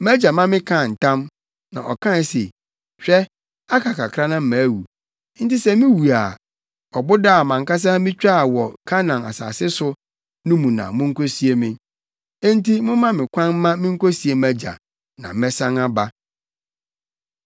‘Mʼagya ma mekaa ntam,’ na ɔkae se: Hwɛ, aka kakra na mawu. Enti sɛ miwu a, ɔboda a mʼankasa mitwaa wɔ Kanaan asase so no mu na munkosie me. ‘Enti momma me kwan mma minkosie mʼagya, na mɛsan aba.’ ”